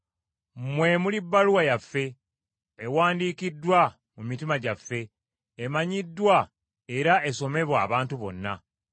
Mmwe muli bbaluwa yaffe, ewandiikiddwa mu mitima gyaffe, emanyiddwa era esomebwa abantu bonna,